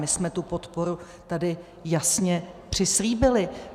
My jsme tu podporu tady jasně přislíbili.